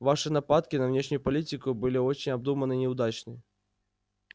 ваши нападки на внешнюю политику были очень обдуманны и неудачны